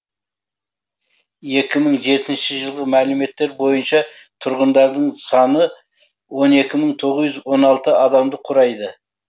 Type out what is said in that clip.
екі мың жетінші жылғы мәліметтер бойынша тұрғындарының саны он екі мың тоғыз жүз он алты адамды құрайды